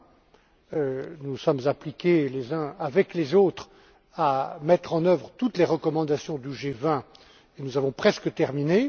20. Nous nous sommes appliqués les uns avec les autres à mettre en œuvre toutes les recommandations du G 20 et nous avons presque terminé.